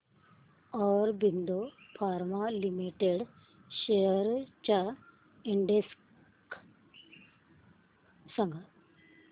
Aurobindo pharma limited shares चा index सांगा